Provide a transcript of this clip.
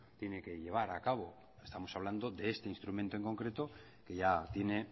tiene que llevar a cabo estamos hablando de este instrumento en concreto que ya tiene